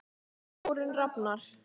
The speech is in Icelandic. Þórunn Rafnar.